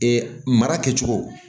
mara kɛcogo